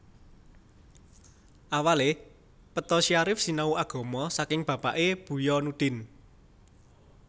Awale Peto Syarif sinau agama saking bapakke Buya Nudin